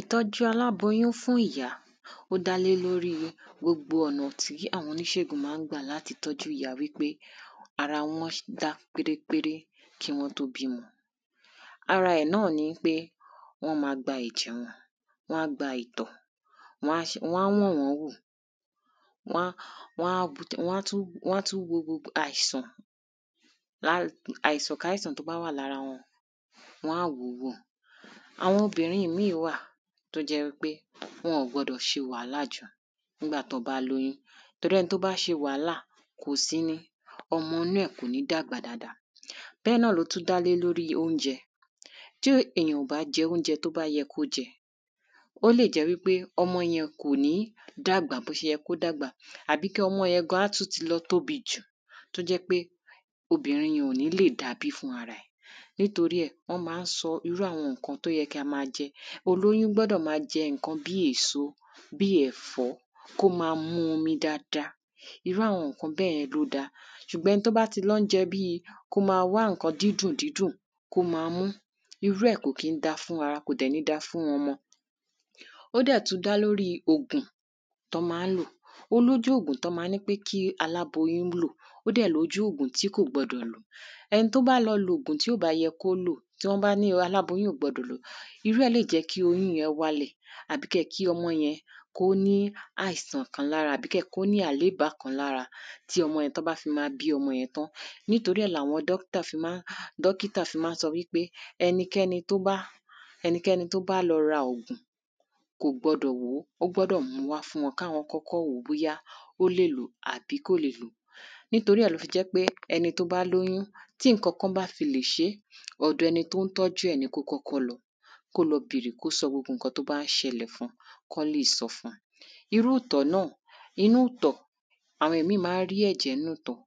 ìtọ́jú aláboyún fún ìyá, ó dá lé lóríi gbogbo ọ̀nà tí àwọn oníṣègùn maá gbà láti tọ́jú ìyá wípé ara wọn dá pérépépé kí wọ́n tó bímọ. ara ẹ̀ náà ni ípé, wọ́n ma gba ẹ̀jẹ̀ wọn, wán gba ìtọ̀, wań ṣe, wán wọ̀n wọ́n wò, wán, wán tú, wán tú wo gbogbo àìsàn lá, àìsàn káìsàn tó bá wà lára wọn, wán wó ó wò. àwọn obìnrin míì wà tó jẹ́ wípé wọn ò gbọdọ̀ ṣe wàhálà jù ńgbà tán bá lóyún, torí ẹni tó bá ṣe wàhálà, kòsí ni, ọmọ nú ẹ̀ kò ní dàgbà dáadáa. bẹ́ẹ̀ náà ló tún dá lórí oúnjẹ, tí èyàn ò bá jẹ oúnje tó bá yẹ kó jẹ, ó lè jẹ́ wípé ọmọ yẹn kò ní dàgbà bó se yẹ kó dàgbà àbí kí ọmọ yẹn gan á tún ti lọ tóbi jù, tó jẹ́ pé obìnrin yẹn ò ní lè dabí fún rara ẹ̀. nítorí ẹ̀, wọ́n ma ń ṣo irú àwọn ǹkan tó yẹ kí a ma jẹ. olóyún gbọ́dọ̀ maa jẹ ǹkan bí èso, bíí ẹ̀fó, kó ma mu omi dada, irú àwọn ǹkan bẹ́yẹn ló dáa. sùgbọ́n ẹni tó bá ti lọ ń jẹ bíi, kó ma wá ǹkan dídùn dídùn, kó ma mú, irú ẹ̀ kò kín dáa fún ara, kò dẹ̀ ní dáa fún ọmọ. ó dẹ̀ tún dá lóríi ògùn tán ma ń lò. ó lójú ògùn tún ma ń nípé kí aláboyún lò, ó dẹ̀ lójú ògùn tí kò gbọdọ̀ lò. ẹni tó bá lọ lògùn tí ò bá yẹn kó lò, tán bá ní aláboyún ò gbọdọ̀ lò, irú ẹ̀ lè jẹ́ kí oyún yẹn wá lè, àbí kẹ̀ kí ọmọ yẹn kó ní àìsàn kan lára, àbí kẹ̀ kó ní àléìbá kan lára tí ọmọ yẹn, tán bá ma fi bí ọmọ yẹn tán. nítorí ẹ̀ láwọn dóktà fí maá, dókítà fí maá sọ wípé ẹnikẹ́ni tó bá, ẹnikẹ́ni tó bá lọ ra ògùn, kò gbọdọ̀ lòó, ó gbọ́dọ̀ mu wá fún wọn, káwọn kọ́kọ́ wòó bóyá ó lè lòó àbí kò lè lòó. nítorí ẹ̀ ló fi jẹ́ pé ẹni tó bá lóyún, tí ìnkankan bá fi lè ṣe, ọ̀dọ̀ ẹni tón tọ́jú ẹ̀ ni kó kọ́kọ́ lọ. kó lọ bèrè, kó sọ gbogbo ǹkan tó bá ń ṣẹlẹ fun kán sọ fun. irú ìtọ̀ náà, inú ìtọ̀, àwọn míì maá rí ẹ̀jẹ̀ nínú ìtọ̀.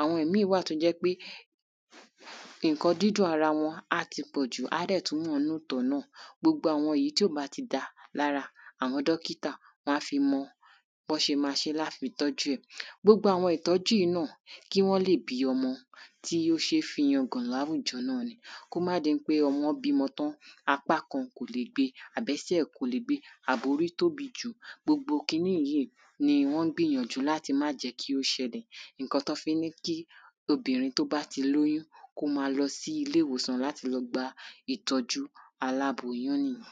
àwọn míì wá náà tó jẹ́ pé ǹkan dídùn ara wọn á ti pọ̀jù á dẹ̀ tún wàn núú ìtọ̀ náà, gbogbo àwọn èyí tí ò bá ti dáa lára, àwọn dọ́kítà wán fi mọ bọ́n ṣe ma ṣe láti tọ́jú ẹ̀. gbogbo àwọn ìtọ́jú yíì náà, kí wọ́n lè bí ọmọ tí ó ṣeé fi yangàn láwùjọ náà ni. kó máà di ípé ọmọ bímọ tán, apá kan kò lè gbe, àbẹ́sẹ̀ kò lè gbe, àbórí tóbi jù, gbogbo kiní yíì ni wọ́n gbìyànjú láti máà jẹ́ kí ó ṣẹlẹ̀. ǹkan tún fi ń ní kí obìnrin tó bá ti lóyún, kó maa lọ sí ilé-ìwòsàn láti lọ gba ìtọ́jú aláboyún nì yẹn.